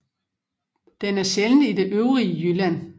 Den er sjælden i det øvrige Jylland